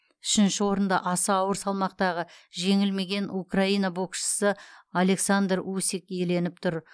үшінші орынды аса ауыр салмақтағы жеңілмеген украина боксшысы александр усик иеленіп тұр